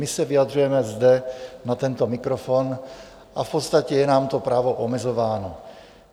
My se vyjadřujeme zde na tento mikrofon a v podstatě je nám to právo omezováno.